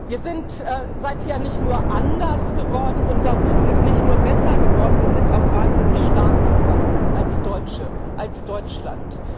Wir sind seither nicht nur anders geworden, unser Ruf ist nicht nur besser geworden, wir sind auch wahnsinnig stark geworden als Deutsche, als Deutschland.